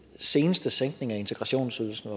seneste sænkning af integrationsydelsen